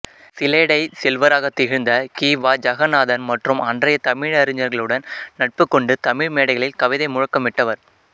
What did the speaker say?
சிலேடைச் செல்வராகத் திகழ்ந்த கி வா ஜகன்னாதன் மற்றும் அன்றைய தமிழறிஞர்களுடன் நட்பு கொண்டு தமிழ் மேடைகளில் கவிதை முழக்கமிட்டவர்